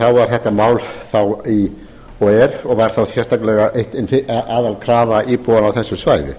því að þá var þetta mál og er og var þá sérstaklega aðalkrafa íbúanna á þessu svæði